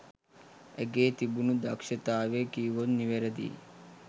ඇගේ තිබුණු දක්ෂතාවය කීවොත් නිවැරදියි.